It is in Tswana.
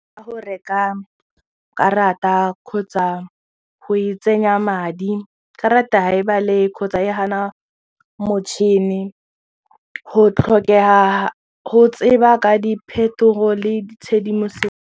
Ka go reka karata kgotsa go e tsenya madi karata kgotsa e gana motšhini go tlhokega go tseba ka diphetogo le tshedimosetso.